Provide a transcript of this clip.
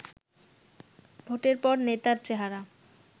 ভোটের পর নেতার চেহারা